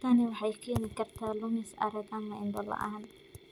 Tani waxay keeni kartaa lumis arag ama indho la'aan.